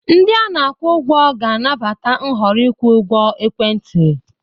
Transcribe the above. Ndị ana-akwụ ụgwọ ga-anabata nhọrọ ịkwụ ụgwọ ekwentị.